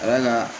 Wala